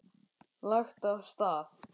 Lagt af stað